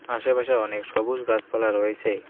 আশেপাশে অনেক সবুজ গাছপালা রয়েছে।